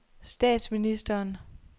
statsministeren